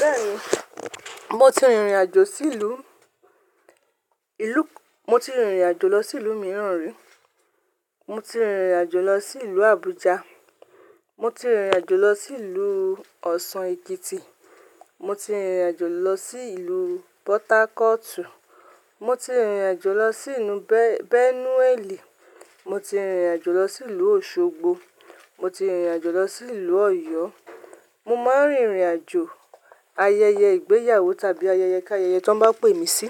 Bẹ́ẹ̀ni, mo ti rìnrìn àjò sí ìlú, ìlú, mo ti rìnrìn àjò lọ sí ìlú mìíràn rí. Mo ti rìnrìn àjò lọ sí ìlú Abuja. Mo ti rìnrìn àjò lọ sí ìlú Osun, Ekiti. Mo ti rìnrìn àjò lọ sí ìlú Port Harcourt. Mo ti rìnrìn àjò lọ sí ìlú Benue. Mo ti rìnrìn àjò lọ sí ìlú Osogbo. Mo ti rìnrìn àjò lọ sí ìlú Ọ̀yọ́. Mo máa ń rìnrìn àjò ayẹyẹ ìgbéyàwó tàbí ayẹyẹ ká ayẹyẹ tí wọ́n bá pè mí sí,